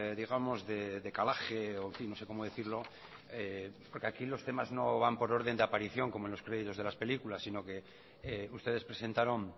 digamos de calaje o no sé cómo decirlo porque aquí los temas no van por orden de aparición como en los créditos de las películas sino que ustedes presentaron